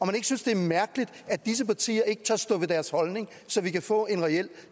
han ikke synes det er mærkeligt at disse partier ikke tør stå ved deres holdning så vi kan få en reel